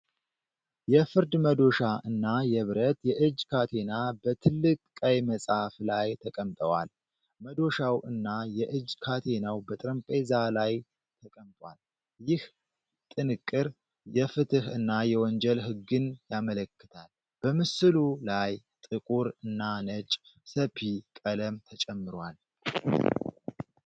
የፍርድ መዶሻ እና የብረት የእጅ ካቴና በትልቅ ቀይ መጽሐፍ ላይ ተቀምጠዋል። መዶሻው እና የእጅ ካቴናው በጠረጴዛ ላይ ተቀምጧል። ይህ ጥንቅር የፍትህ እና የወንጀል ህግን ያመለክታል። በምስሉ ላይ ጥቁር እና ነጭ (sepia) ቀለም ተጨምሯል።